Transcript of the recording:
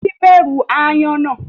Titi bẹrù Aáyán na.